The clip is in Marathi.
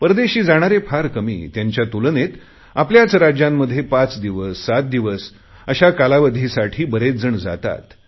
परदेशी जाणारे फार कमी त्यांच्या तुलनेत आपल्याच राज्यांमध्ये पाच दिवस सात दिवस अशा कालावधीसाठी बरेच जण जातात